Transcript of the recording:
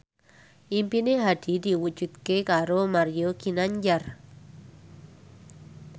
impine Hadi diwujudke karo Mario Ginanjar